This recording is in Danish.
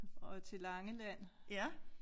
Og til Langeland